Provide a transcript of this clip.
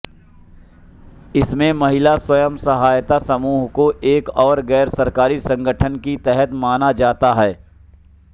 इसमें महिला स्वयं सहायता समूहों को एक गैर सरकारी संगठन की तरह माना जाता है